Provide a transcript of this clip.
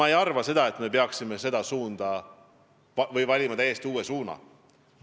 Ma ei arva, et me peaksime valima täiesti uue suuna.